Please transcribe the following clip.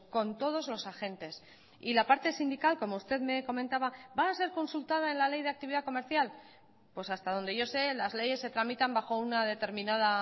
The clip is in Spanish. con todos los agentes y la parte sindical como usted me comentaba va a ser consultada en la ley de actividad comercial pues hasta donde yo sé las leyes se tramitan bajo una determinada